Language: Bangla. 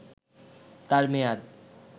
তার মেয়াদ